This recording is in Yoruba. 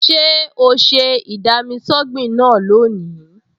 Ṣé o ṣe ì-dami-sọ́gbìn náà lónìí?